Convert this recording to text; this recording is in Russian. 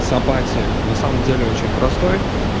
сам пати на самом деле очень простой